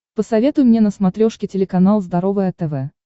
посоветуй мне на смотрешке телеканал здоровое тв